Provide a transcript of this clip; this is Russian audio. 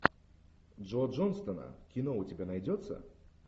джо джонстона кино у тебя найдется